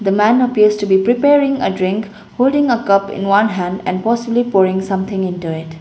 man appears to be preparing a drink holding a cup in one hand and possibly pouring something into it.